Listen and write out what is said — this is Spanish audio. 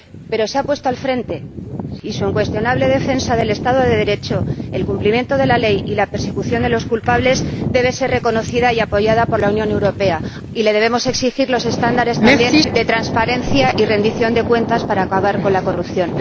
Pero se ha puesto al frente y su incuestionable defensa del Estado de Derecho, el cumplimiento de la ley y la persecución de los culpables debe ser reconocida y apoyada por la Unión Europea, la cual también debe exigirle los estándares de transparencia y rendición de cuentas para acabar con la corrupción.